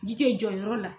Ji tɛ jɔ yɔrɔ la